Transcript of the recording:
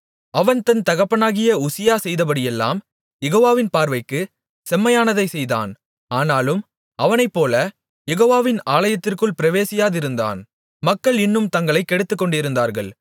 அவன் தன் தகப்பனாகிய உசியா செய்தபடியெல்லாம் யெகோவாவின் பார்வைக்கு செம்மையானதைச் செய்தான் ஆனாலும் அவனைப்போல யெகோவாவின் ஆலயத்திற்குள் பிரவேசியாதிருந்தான் மக்கள் இன்னும் தங்களைக் கெடுத்துக்கொண்டிருந்தார்கள்